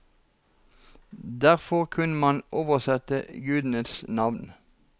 Derfor kunne man oversette gudenes navn.